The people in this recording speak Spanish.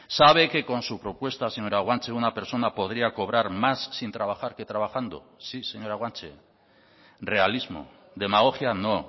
sabe que con su propuesta señora guanche una persona podría cobrar más sin trabajar que trabajando sí señora guanche realismo demagogia no